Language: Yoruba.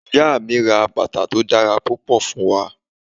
Iya mi ra batà to dara pupọ, fun wa.